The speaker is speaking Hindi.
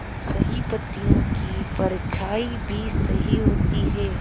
सही पत्तियों की परछाईं भी सही होती है